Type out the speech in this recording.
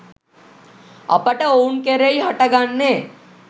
අපට ඔවුන් කෙරෙහි හට ගන්නේ